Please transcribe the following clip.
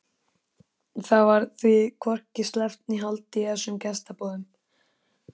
Það varð því hvorki sleppt né haldið í þessum gestaboðum.